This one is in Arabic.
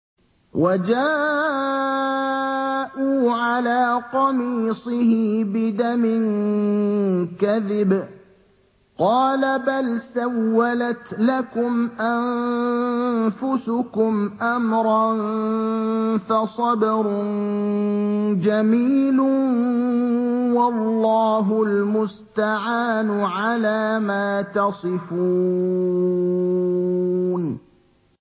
وَجَاءُوا عَلَىٰ قَمِيصِهِ بِدَمٍ كَذِبٍ ۚ قَالَ بَلْ سَوَّلَتْ لَكُمْ أَنفُسُكُمْ أَمْرًا ۖ فَصَبْرٌ جَمِيلٌ ۖ وَاللَّهُ الْمُسْتَعَانُ عَلَىٰ مَا تَصِفُونَ